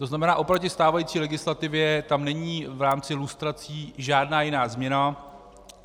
To znamená oproti stávající legislativě tam není v rámci lustrací žádná jiná změna.